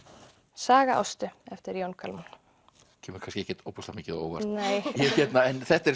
Saga Ástu eftir Jón Kalman kemur kannski ekkert ofboðslega mikið á óvart þetta er